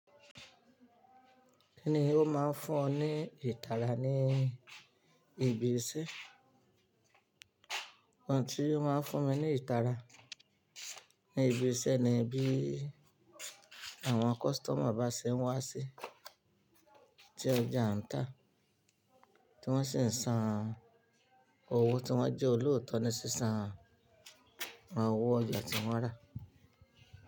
Kíni ó máa ń fún ọ ní ìtara ní ibi iṣẹ́? Ohun tí ó máa ń fún mi ní ìtara ní ibi iṣẹ́ ni bí àwọn customer bá ṣe ń wá sí ti ọjà n ta tí wọ́n sì ń san owó tí wọ́n jẹ́ olóòótọ́ ni sísan owó ọjà tí wọ́n rà.